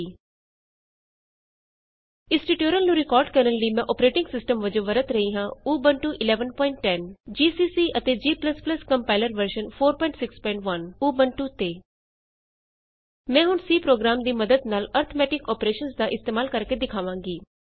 ab ਇਸ tutorial ਨੂੰ record ਕਰਨ ਲਈ ਮੈਂ ਅੋਪਰੇਟਿੰਗ ਸਿਸਟਮ ਵਜੋਂ ਵਰਤ ਰਹੀ ਹਾਂ ਊਬੰਤੂ 1110 ਉਬੁੰਟੂ 1110 ਜੀਸੀਸੀ ਅਤੇ g compiler version 461 GCC and G compiler version 461 ਮੈਂ ਹੁਣ C ਪ੍ਰੋਗਰਾਮ ਦੀ ਮੱਦਦ ਨਾਲ ਅਰਥਮੈਟਿਕ ਅੋਪਰੇਸ਼ਨਸ ਦਾ ਇਸਤੇਮਾਲ ਕਰਕੇ ਦਿਖਾਵਾਂਗੀ